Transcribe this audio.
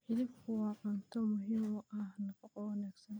Hilibku waa cunto muhiim u ah nafaqada wanaagsan.